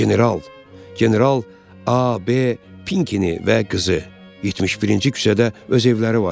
General, general A B Pinkini və qızı 71-ci küçədə öz evləri var.